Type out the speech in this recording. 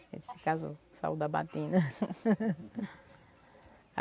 Ele se casou, saiu da batina.